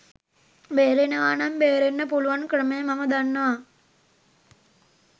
බේරෙනවා නම් බේරෙන්න පුළුවන් ක්‍රමය මම දන්නවා.